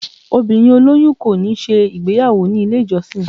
obírín oloyun ko ni ṣe igbeyawo ni ile ijọsin.